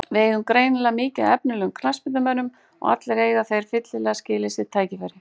Við eigum greinilega mikið af efnilegum knattspyrnumönnum og allir eiga þeir fyllilega skilið sitt tækifæri.